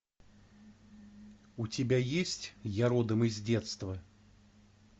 у тебя есть я родом из детства